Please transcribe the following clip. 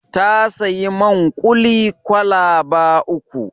Ta sayi man kuli kwalaba uku.